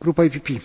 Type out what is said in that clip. Señor Presidente,